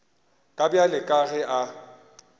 ka bjale ka ge a